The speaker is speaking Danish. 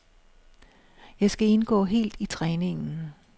Jeg skal indgå helt i træningen.